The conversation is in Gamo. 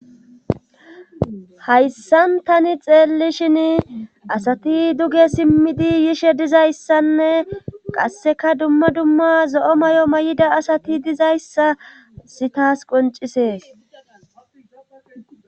Haysan tani xeellishini asati duge simmidi yishe dizayssanne qasseka dumma dumma zo7o mayo mayida asati dizayssa hayssi taas qonccisees.